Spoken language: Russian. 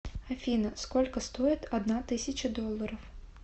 афина сколько стоит одна тысяча долларов